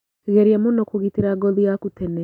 Geria mũno kũgitĩra ngothi yaku tene